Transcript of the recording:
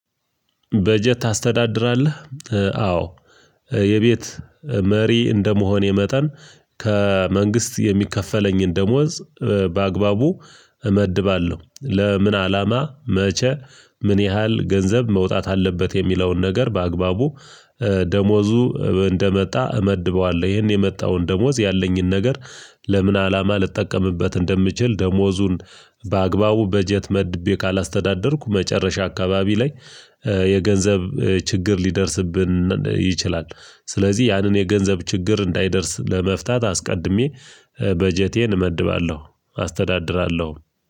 በጀት ታስተዳድራለህ? አዎ የቤት መሪ እንደመሆኔ መጠን ከመንግስት የሚከፈለኝን ደሞዝ በአግባቡ እመድባለሁ። ለምን አላማ፣ መቼ ምን ያህል ገንዘብ መውጣት አለበት? የሚለውን ነገር በአግባቡ ደሞዙ እንደመጣ እመድበዋለሁ። ይሄን የመጣውን ደሞዝ ያለኝን ነገር ለምን አላማ ልጠቀምበት እንደምችል ደሞዙን በአግባቡ በጀት መድቤ ካላስተዳደርኩ መጨረሻ አካባቢ ላይ የገንዘብ ችግር ሊደርስብን ይችላል። ስለዚህ ያንን የገንዘብ ችግር እንዳይደርስ ለመፍታት አስቀድሜ በጀቴን እመድባለሁ አስተዳድራለሁ